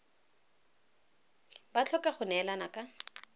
ba tlhoka go neelana ka